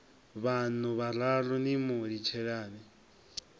vhaṋu vhararu ni mu litshelani